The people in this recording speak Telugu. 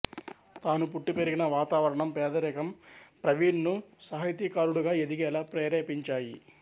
తను పుట్టి పెరిగిన వాతావరణం పేదరికం ప్రవీణ్ ను సాహితీకారుడిగా ఎదిగేలా ప్రేరేపించాయి